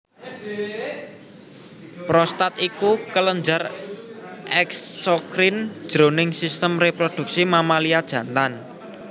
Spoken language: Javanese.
Prostat iku kelenjar eksokrin jroning sistem réprodhuksi mamalia jantan